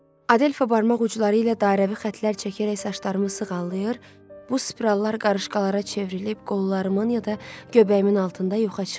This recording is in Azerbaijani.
Adelfa barmaq ucları ilə dairəvi xəttlər çəkərək saçlarımı sığallayır, bu spirallar qarışqalara çevrilib qollarımın ya da göbəyimin altında yuxarı çıxır.